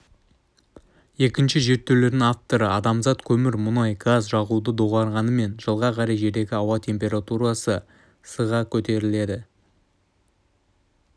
екінші зерттеулердің авторы адамзат көмір мүнай газ жағуды доғарғанымен жылға қарай жердегі ауа темпарутарсы с-қа көтеріледі